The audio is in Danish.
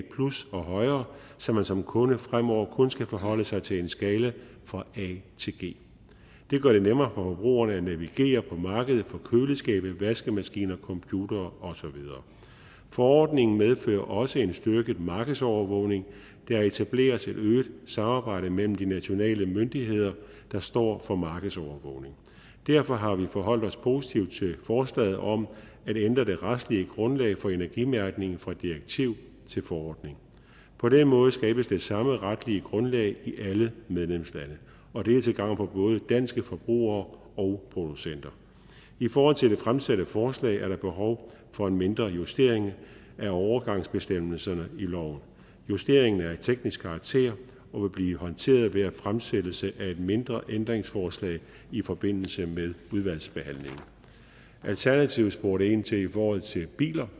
og højere så man som kunde fremover kun skal forholde sig til en skala fra a til g det gør det nemmere for forbrugerne at navigere på markedet for køleskabe vaskemaskiner computere og så videre forordningen medfører også en styrket markedsovervågning der etableres et øget samarbejde mellem de nationale myndigheder der står for markedsovervågning derfor har vi forholdt os positivt til forslaget om at ændre det retslige grundlag for energimærkningen fra direktiv til forordning på den måde skabes det samme retlige grundlag i alle medlemslande og det er til gavn for både danske forbrugere og producenter i forhold til det fremsatte forslag er der behov for en mindre justering af overgangsbestemmelserne i loven justeringen er af teknisk karakter og vil blive håndteret ved fremsættelse af et mindre ændringsforslag i forbindelse med udvalgsbehandlingen alternativet spurgte ind til det i forhold til biler